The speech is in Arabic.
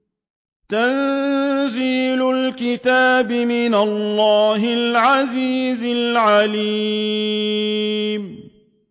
تَنزِيلُ الْكِتَابِ مِنَ اللَّهِ الْعَزِيزِ الْعَلِيمِ